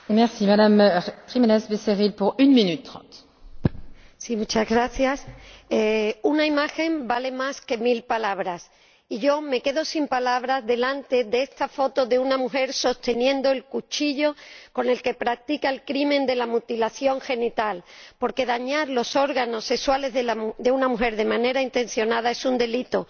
Señora Presidenta, una imagen vale más que mil palabras. Y yo me quedo sin palabras delante de esta foto de una mujer sosteniendo el cuchillo con el que practica el crimen de la mutilación genital, porque dañar los órganos sexuales de una mujer de manera intencionada es un delito.